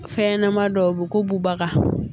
Fɛn ɲɛnama dɔw be ko bubaga